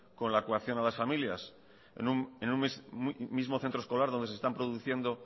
con la coacción a las familias en un mismo centro escolar donde se están produciendo